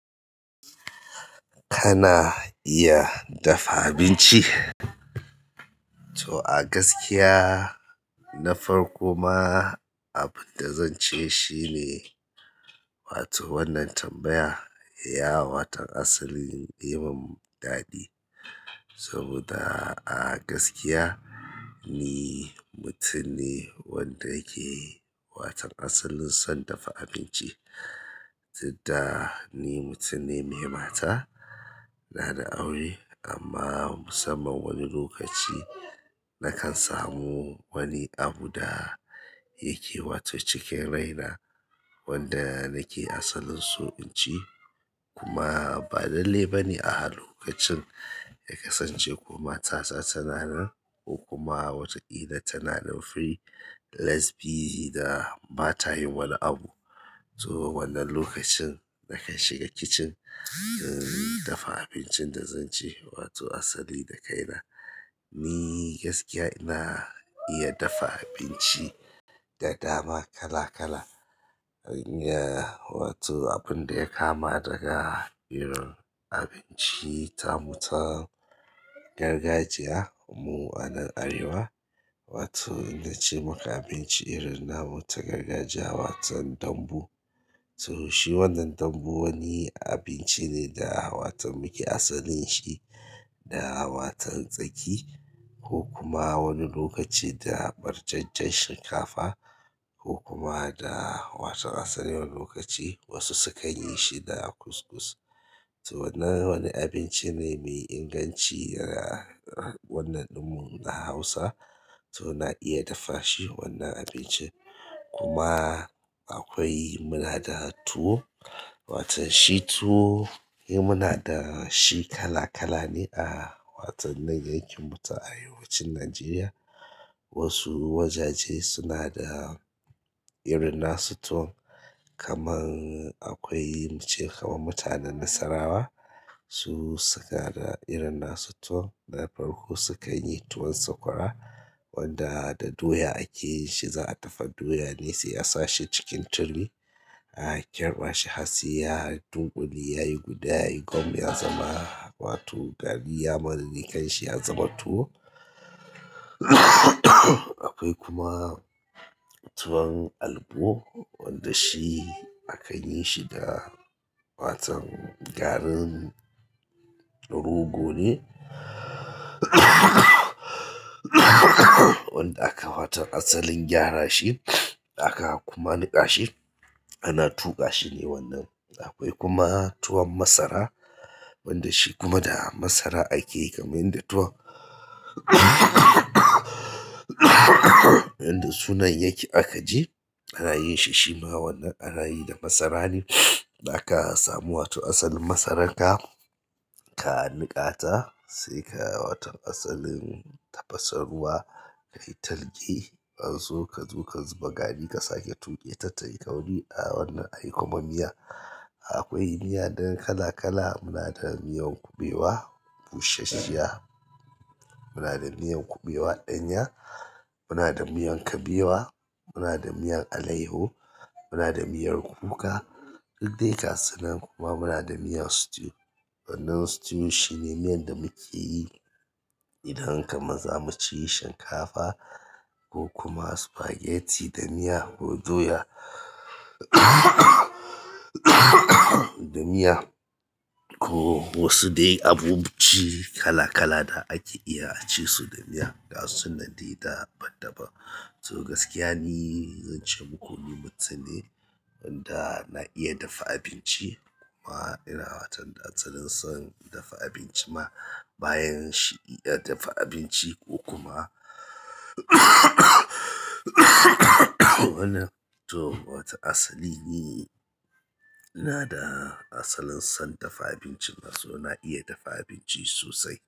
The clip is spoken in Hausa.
Kana iya dafa abinci? To a gaskiya na farko ma abin da zan ce shine, wato wannan tambaya ya watan asalin yi mun daɗi. Saboda a gaskiya ni mutum ne wanda yake watan asalin son dafa abinci, dudda ni mutum ne mai mata, ina da aure amma musamman wani lokaci nakan samu wani abu da yake wato cikin rai na wanda nake asalin so in ci kuma ba lalle ba ne a halin lokacin ya kasance ko mata ta tana nan ko kuma wataƙila tana nan free, less busy da ba ta yin wani abu. To wannan lokacin nakan shiga kicin in dafa abincin da zan ci wato asali da kaina. Ni gaskiya ina iya dafa abinci da dama kala kala. Ina wato abin da ya kama daga irin abinci ta mu ta gargajiya mu a nan Arewa, wato inna ce maka abinci irin na mu ta gargajiya, watan dambu. Saboda shi wannan dambu wani abinci ne da wato muke asalin shi da watan tsaki ko kuma wani lokaci da barjajjen shinkafa ko kuma da asalin asalin wani lokaci wasu sukan yishi da couscous to wannan wani abinci ne mai inganci a wannan ɗinmu na Hausa. To na iya dafa shi wannan abincin kuma akwai muna da tuwo, watan shi tuwo yi muna da shi kala kala ne a watan nan yankin mu ta arewacin Najeriya. Wasu wajaje suna da irin na su tuwon kamar akwai mu ce kamar mutanen Nasarawa su suka da irin na su tuwon na farko sukan yi tuwon sakwara wanda da doya ake yin shi, za a dafa doya ne sai a sa shi cikin turmi, a kirba shi har sai ya dunƙule, yayi guda, yayi gwam, ya zama wato gari ya manne kai shi ya zama tuwo. Akwai kuma tuwon albo wanda shi akan yin shi da watan garin rogo ne wanda aka watan asalin gyara shi aka kuma niƙa shi, ana tuƙa shi ne wannan. Akwai kuma tuwon masara wanda shi kuma da masara ake yi kamar inda tuwon yanda sunan yake aka je ana yinshi shima wannan ana yi da masara ne da aka samu wato asalin masaran ka, ka niƙa ta sai ka watan asalin tafasa ruwa, ka yi talge, an so ka zo ka zuba gari ka sake tuƙe ta tayi ƙauri a wannan ayi kuma miya. Akwai miya ɗin kakala muna da miyan kuɓewa bushashiyya muna da miyan kuɓewa ɗanya muna da miyan kabewa muna da miyan alayyaho muna da miyan kuka duk dai gasu nan kuma munada miyan stew. Wannan stew shine miyan da muke yi idan kamar za mu ci shinkafa ko kuma spaghetti da miya ko doya da miya ko wasu dai abinci kala kala da ake iya a ci su da miya. Ga su nan dai daban daban. To gaskiya ni zan ce muku ni mutum ne wanda na iya dafa abinci kuma ina watan asalin son dafa abinci ma bayan shi iya dafa abinci ko kuma wannan to wato asali ni ina da asalin son dafa abinci ma so na iya dafa abinci sosai.